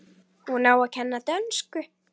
Hún á að kenna dönsku.